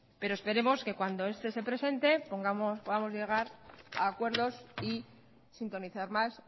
pero esperemos que cuando este se presente vamos a llegar a acuerdos y sintonizar más